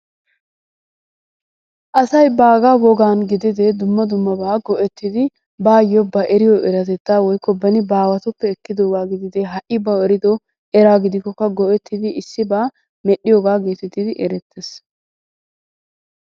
Asay baagaa wogaan gidide dumma dummaba go'ettidi baayo ba eriyo eratetta woykko beni ba aawatuppe ekkiddogaa gidide ha'i bawu eriddo eraa go"ettidi issibaa medhiyoogaa getettidi erettees.